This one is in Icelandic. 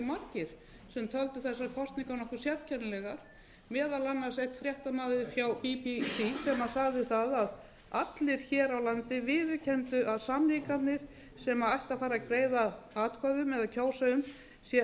nokkuð sérkennilega meðal annars einn fréttamaður hjá bbc að aðrir hér á landi viðurkenndu að samningarnir sem ætti að fara að greiða atkvæði um eða kjósa um